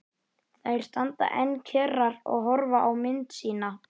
Þær standa enn kyrrar og horfa á mynd sína.